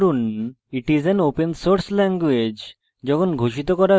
করুন it is an open source language